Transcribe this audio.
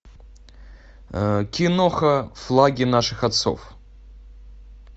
киноха флаги наших отцов